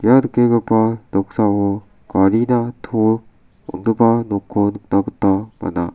ia nikenggipa noksao garina to on·gipa nokko nikna gita man·a.